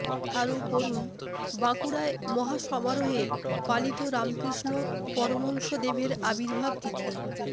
আরও পড়ুন বাঁকুড়ায় মহাসমারোহে পালিত রামকৃষ্ণ পরমহংসদেবের আবির্ভাব তিথি